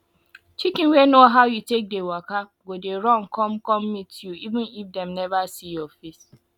chicken wey know how you take dey waka go dey run come come meet you even if dem neva see your face